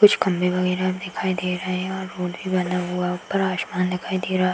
कुछ खम्भे वगैरा भी दिखाई दे रहे हैं और रोड भी बना हुआ ऊपर आसमान दिखाई दे रहा।